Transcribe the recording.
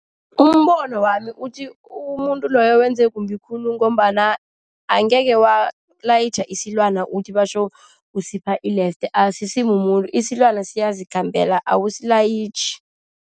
Umbono wami uthi umuntu loyo wenze kumbi khulu, ngombana angekhe walayitjha isilwana uthi batjho usipha ilefte. Asisimumuntu isilwana, siyazikhambela awusilayitjhi.